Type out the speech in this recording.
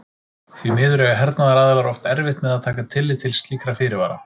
Því miður eiga hernaðaraðilar oft erfitt með að taka tillit til slíkra fyrirvara.